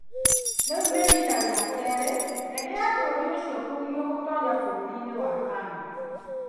Rĩu nĩ riita rĩa kerĩ ndege ya bũrũri ũcio kũgirio gũtoonya bũrũri-inĩ wa Canada.